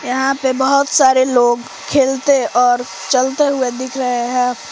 यहां पे बहुत सारे लोग खेलते और चलते हुए दिख रहे हैं।